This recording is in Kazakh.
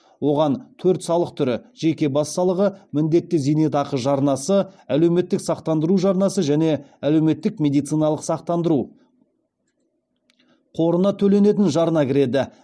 оған төрт салық түрі жеке бас салығы міндетті зейнетақы жарнасы әлеуметтік сақтандыру жарнасы және әлеуметтік медициналық сақтандыру қорына төленетін жарна кіреді